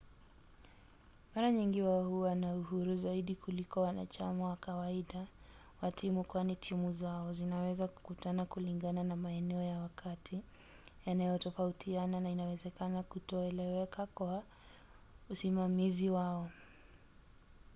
mara nyingi wao huwa na uhuru zaidi kuliko wanachama wa kawaida wa timu kwani timu zao zinaweza kukutana kulingana na maeneo ya wakati yanayotofautiana na inaweza kutoeleweka kwa usimamizi wao